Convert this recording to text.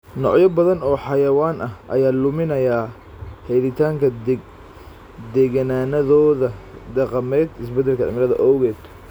Noocyo badan oo xayawaan ah ayaa luminaya helitaanka deegaannadooda dhaqameed isbeddelka cimilada awgeed.